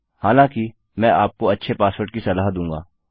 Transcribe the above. हालाँकि मैं आपको अच्छे पासवर्ड की सलाह दूँगा